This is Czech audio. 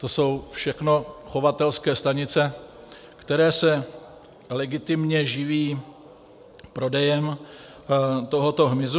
To jsou všechno chovatelské stanice, které se legitimně živí prodejem tohoto hmyzu.